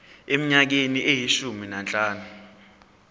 eminyakeni eyishumi nanhlanu